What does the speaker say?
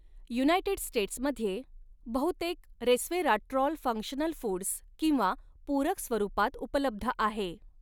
United स्टेट्समध्ये बहुतेक resveratrol functional foods किंवा पूरक स्वरूपात उपलब्ध आहे.